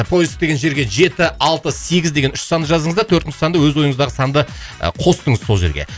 поиск деген жерге жеті алты сегіз деген үш санды жаздыңыз да төртінші санды өз ойыңыздағы санды ы қостыңыз сол жерге